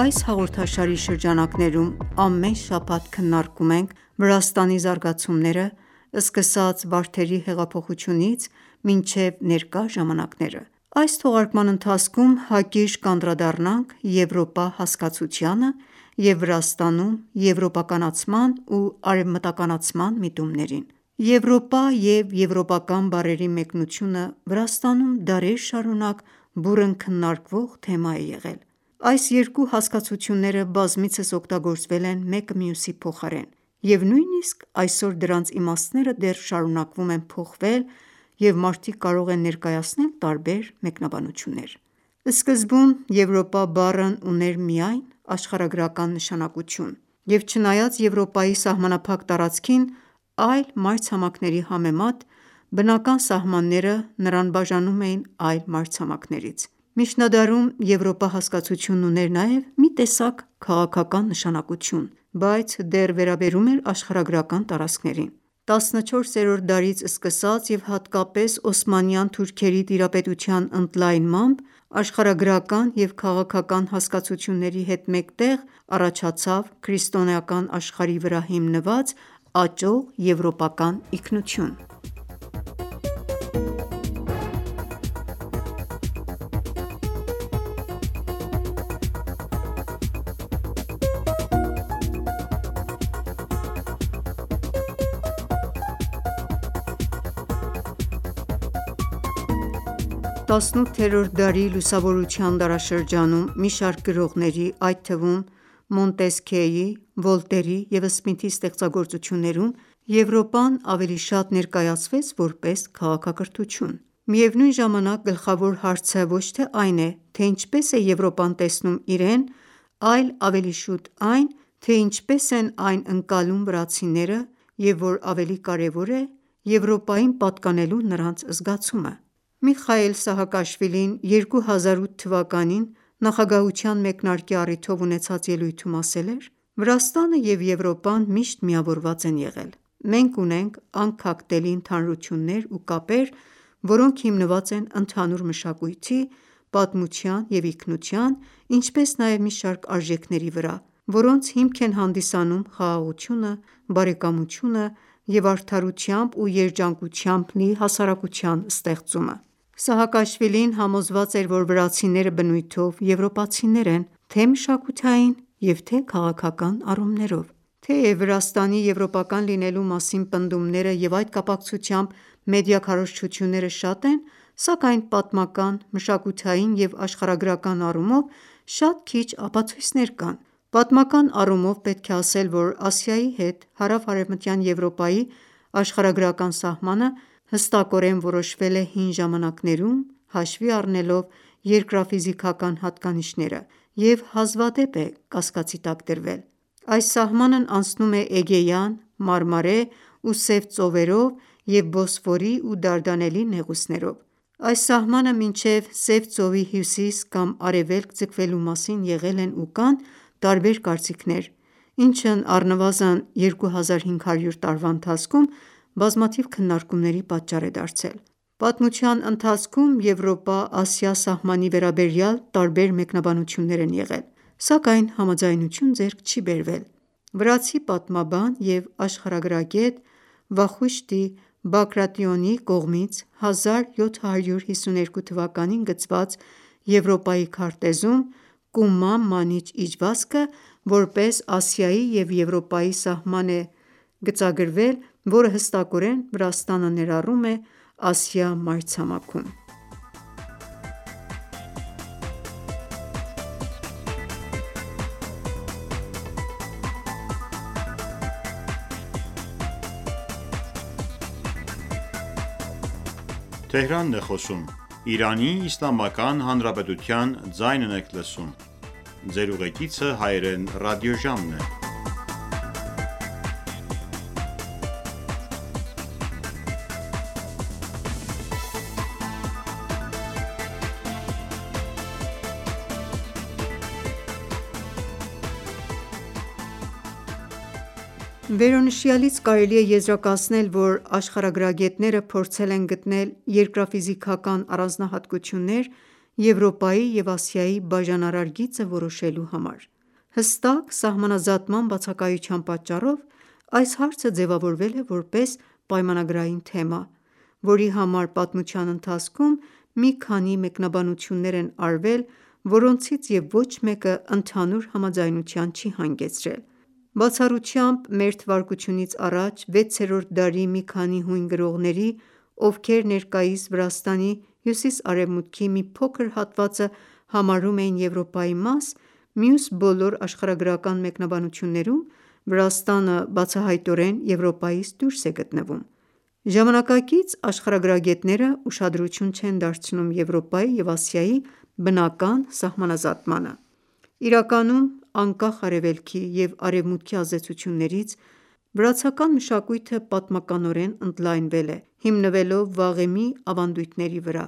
Այս հաղորդաշարի շրջանակներում ամեն շաբաթ քննարկում ենք Վրաստանի զարգացումները՝ սկսած Վարդերի հեղափոխությունից մինչև ներկա ժամանակները։ Այս թողարկման ընթացքում հակիրճ կանդրադառնանք Եվրոպա հասկացությանը և Վրաստանում եվրոպականացման ու արևմտականացման միտումներին։ «Եվրոպա» և «եվրոպական» բառերի մեկնությունը Վրաստանում դարեր շարունակ բուռն քննարկվող թեմա է եղել։ Այս երկու հասկացությունները բազմիցս օգտագործվել են մեկը մյուսի փոխարեն, և նույնիսկ այսօր դրանց իմաստները դեռ շարունակում են փոխվել, և մարդիկ կարող են ներկայացնել տարբեր մեկնաբանություններ: Սկզբում «Եվրոպա» բառն ուներ միայն աշխարհագրական նշանակություն, և չնայած Եվրոպայի սահմանափակ տարածքին՝ այլ մայրցամաքների համեմատ, բնական սահմանները նրան բաժանում էին այլ մայրցամաքներից։ Միջնադարում Եվրոպա հասկացությունն ուներ նաև մի տեսակ քաղաքական նշանակություն, բայց դեռ վերաբերում էր աշխարհագրական տարածքներին։ 14-րդ դարից սկսած և հատկապես օսմանյան թուրքերի տիրապետության ընդլայնմամբ, աշխարհագրական և քաղաքական հասկացությունների հետ մեկտեղ, առաջացավ քրիստոնեական աշխարհի վրա հիմնված աճող եվրոպական ինքնություն: Վրաստանը քրիստոնյա մեծամասնություն ունեցող երկիր է 18-րդ դարի լուսավորության դարաշրջանում մի շարք գրողների, այդ թվում՝ Մոնտեսքյեի, Վոլտերի և Սմիթի ստեղծագործություններում Եվրոպան ավելի շատ ներկայացվեց, որպես քաղաքակրթություն: Միևնույն ժամանակ, գլխավոր հարցը ոչ թե այն է, թե ինչպես է Եվրոպան տեսնում իրեն, այլ ավելի շուտ այն, թե ինչպես են այն ընկլալում վրացիները և, որ ավելի կարևոր է, Եվրոպային պատկանելու նրանց զգացումը: Միխայիլ Սահակաշվիլին 2008 թվականին նախագահության մեկնարկի առիթով ունեցած ելույթում ասել էր․ «Վրաստանը և Եվրոպան միշտ միավորված են եղել: Մենք ունենք անքակտելի ընդհանրություններ ու կապեր, որոնք հիմնված են ընդհանուր մշակույթի, պատմության և ինքնության, ինչպես նաև մի շարք արժեքների վրա, որոնց հիմք են հանդիսանում խաղաղությունը, բարեկամությունը և արդարությամբ ու երջանկությամբ լի հասարակության ստեղծումը։ Սահակաշվիլին համոզված էր, որ վրացիները բնույթով եվրոպացիներ են թե՛ մշակութային, և՛ թե քաղաքական առումներով: Թեև Վրաստանի եվրոպական լինելու մասին պնդումները, և այդ կապակցությամբ մեդիա քարոզչությունները շատ են, սակայն պատմական, մշակութային և աշխարհագրական առումով շատ քիչ ապացույցներ կան: Պատմական առումով պետք է ասել, որ Ասիայի հետ հարավարևմտյան Եվրոպայի աշխարհագրական սահմանը հստակորեն որոշվել է հին ժամանակներում հաշվի առնելով երկրաֆիզիկական հատկանիշները և հազվադեպ է կասկածի տակ դրվել։ Այս սահմանն անցնում է Էգեյան, Մարմարե ու Սև ծովերով և Բոսֆորի ու Դարդանելի նեղուցներով։ Այս սահմանը մինչև Սև ծովի հյուսիս կամ արևելք ձգվելու մասին եղել են ու կան տարբեր կարծիքներ, ինչը առնվազն 2500 տարվա ընթացքում բազմաթիվ քննարկումների պատճառ է դարձել։ Պատմության ընթացքում Եվրոպա-Ասիա սահմանի վերաբերյալ տարբեր մեկնաբանություններ են եղել, սակայն համաձայնություն ձեռք չի բերվել։ Վրացի պատմաբան և աշխարհագրագետ Վախուշտի Բագրատիոնիի կողմից 1752 թվականին գծված Եվրոպայի քարտեզում Կումա-Մանիչ իջվածքը՝ որպես Ասիայի և Եվրոպայի սահման է ցույց գծվել, որը հստակորեն Վրաստանը ներառում է Ասիա մայրցամաքում։ Վրաստանի աշխարհագրական դիրքը՝ Կովկասում Վերոնշյալից կարելի է եզրակացնել, որ աշխարհագրագետները փորձել են գտնել երկրաֆիզիկական առանձնահատկություններ՝ Եվրոպայի և Ասիայի բաժանարար գիծը որոշելու համար։ Հստակ սահմանազատման բացակայության պատճառով այս հարցը ձևավորվել է որպես պայմանագրային թեմա, որի համար պատմության ընթացքում մի քանի մեկնաբանություններ են արվել, որոնցից և ոչ մեկը ընդհանուր համաձայնության չի հանգեցրել: Բացառությամբ մ.թ.ա. վեցերորդ դարի մի քանի հույն գրողների, ովքեր ներկայիս Վրաստանի հյուսիսարևմուտքի մի փոքր հատվածը համարում էին Եվրոպայի մաս, մյուս բոլոր աշխարհագրական մեկնաբանություններում Վրաստանը բացահայտորեն Եվրոպայից դուրս է գտնվում։ Ժամանակակից աշխարհագրագետները ուշադրություն չեն դարձնում Եվրոպայի և Ասիայի բնական սահմանազատմանը։ Իրականում, անկախ Արևելքի և Արևմուտքի ազդեցություններից՝ վրացական մշակույթը պատմականորեն ընդլայնվել է՝ հիմնվելով վաղեմի ավանդույթների վրա,